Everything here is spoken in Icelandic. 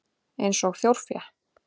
Eins og þjórfé?